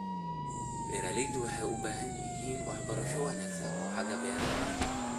Beeraleydu waxay u baahan yihiin waxbarasho wanaagsan oo xagga beeraha ah.